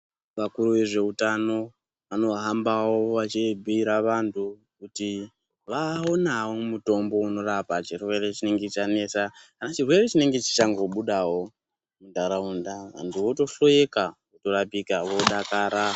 Vakuru vezveutano vanohambavo vachibhira vantu kuti vaonavo mutombo unorapa chirwere chinenge chanetsa. Kana chirwere chinenge chichango budavo antu vatohloeka vatorapika vodakara.